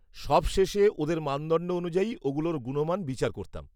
-সবশেষে, ওদের মানদণ্ড অনুযায়ী ওগুলোর গুণমান বিচার করতাম।